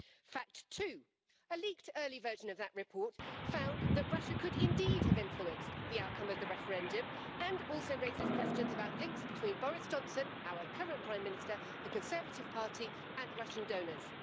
Fact two a leaked early version of that report found that Russia could indeed have influenced the outcome of the referendum and also raises questions about links between Boris Johnson our current Prime Minister, the Conservative Party, and Russian donors.